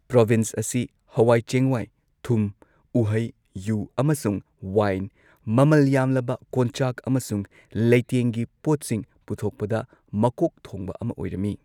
Province ꯑꯁꯤ ꯍꯋꯥꯏ ꯆꯦꯡꯋꯥꯏ, ꯊꯨꯝ, ꯎꯍꯩ, ꯌꯨ ꯑꯃꯁꯨꯡ ꯋꯥꯏꯟ, ꯃꯃꯜ ꯌꯥꯝꯂꯕ ꯀꯣꯟꯆꯥꯛ ꯑꯃꯁꯨꯡ ꯂꯩꯇꯦꯡꯒꯤ ꯄꯣꯠꯁꯤꯡ ꯄꯨꯊꯣꯛꯄꯗ ꯃꯀꯣꯛ ꯊꯣꯡꯕ ꯑꯃ ꯑꯣꯏꯔꯝꯃꯤ꯫